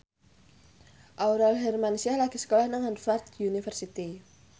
Aurel Hermansyah lagi sekolah nang Harvard university